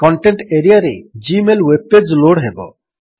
content ଏରିଆରେ Gmail web page load ହେବ